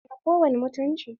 Tana da kowani mutunci?